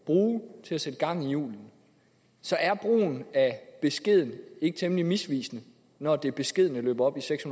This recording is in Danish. bruge til at sætte gang i hjulene så er brugen af beskeden ikke temmelig misvisende når det beskedne løber op i seks